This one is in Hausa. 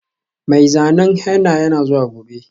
Mai zanen henna yana zuwa gobe.